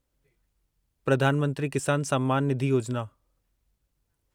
Pradhan Mantri Kisan Samman Nidhi Yojana